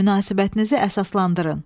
Münasibətinizi əsaslandırın.